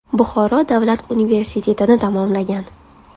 Buxoro davlat universitetini tamomlagan.